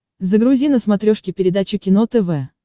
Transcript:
загрузи на смотрешке передачу кино тв